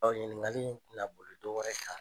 Ɔ ɲininkali tɛ na boli dɔ wɛrɛ kan.